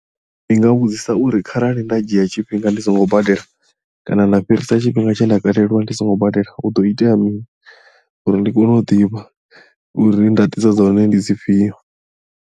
Ndi nga vhudzisa uri kharali nda dzhia tshifhinga ndi songo badela kana nda fhirisa tshifhinga tshe nda kaleliwa ndi songo badela hu do itea mini uri ndi kone u ḓivha uri ndaṱiso dza hone ndi dzi fhio.